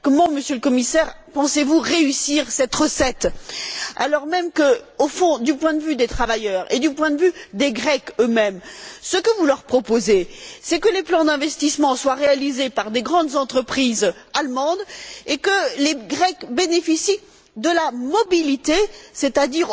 Monsieur le Commissaire, comment pensez vous réussir cette recette en Grèce alors même que, au fond, du point de vue des travailleurs et du point de vue des Grecs eux mêmes ce que vous proposez c'est que les plans d'investissement soient réalisés par de grandes entreprises allemandes et que les Grecs bénéficient de la mobilité, ce qui revient à